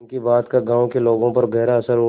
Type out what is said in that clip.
उनकी बात का गांव के लोगों पर गहरा असर हुआ